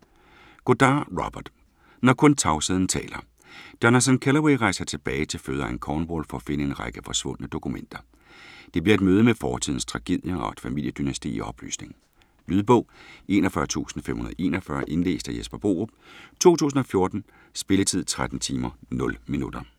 Goddard, Robert: Når kun tavsheden taler Jonathan Kellaway rejser tilbage til fødeegnen Cornwall for at finde en række forsvundne dokumenter. Det bliver et møde med fortidens tragedier og et familiedynasti i opløsning. Lydbog 41541 Indlæst af Jesper Borup, 2014. Spilletid: 13 timer, 0 minutter.